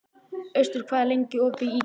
Austar, hvað er lengi opið í IKEA?